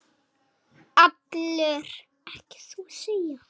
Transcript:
Nú er hann allur.